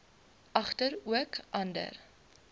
egter ook ander